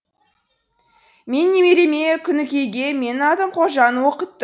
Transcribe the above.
мен немереме күнікейге менің атым қожаны оқытты